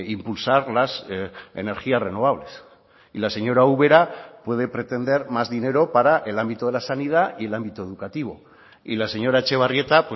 impulsar las energías renovables y la señora ubera puede pretender más dinero para el ámbito de la sanidad y el ámbito educativo y la señora etxebarrieta